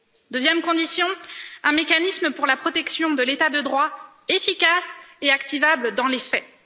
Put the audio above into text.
Deuxième condition un mécanisme pour la protection de l'état de droit, efficace et activable dans les faits.